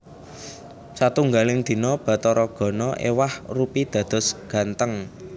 Satunggaling dina Bathara Gana éwah rupi dados gantheng